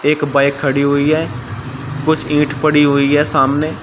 एक बाइक खड़ी हुई है कुछ ईंट पड़ी हुई है सामने--